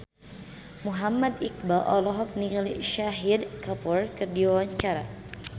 Muhammad Iqbal olohok ningali Shahid Kapoor keur diwawancara